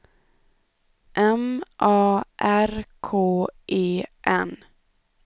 M A R K E N